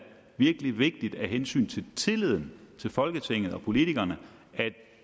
virkelig vigtigt af hensyn til tilliden til folketinget og politikerne at